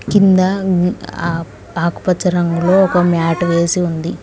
కింద మ్మ్ ఆ ఆకుపచ్చ రంగు లో మ్యాట్ వేసి ఉంది.